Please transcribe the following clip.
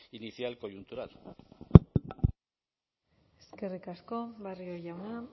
inicial coyuntural eskerrik asko barrio jauna